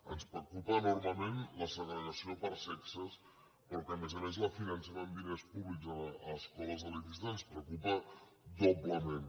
ens preocupa enormement la segregació per sexes però que a més a més la financem amb diners públics a escoles elitistes ens preocupa doblement